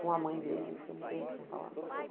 Com a mãe dele, fiquei um tempo sem falar.